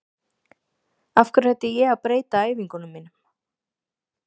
Af hverju ætti ég að breyta æfingunum mínum?